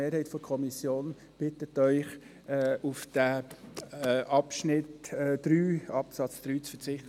Die Mehrheit der Kommission bittet Sie, auf den Absatz 3 zu verzichten.